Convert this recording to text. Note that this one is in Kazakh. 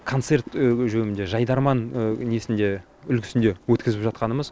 концерт өге жегеуінде жайдарман несінде үлгісінде өткізіп жатқанымыз